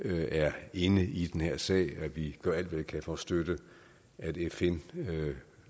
er inde i den her sag og at vi gør alt hvad vi kan for at støtte at fn